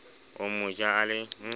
o mo ja a le